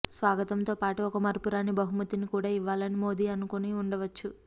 స్వాగతంతోపాటు ఒక మరపురాని బహుమతిని కూడా ఇవ్వాలని మోదీ అను కొని ఉండవచ్చు